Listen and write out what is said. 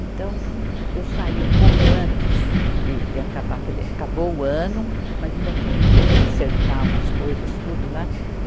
Então, eu saí um pouco antes de, de acabar, quer dizer, acabou o ano, mas ainda tinha que acertar umas coisas, tudo lá.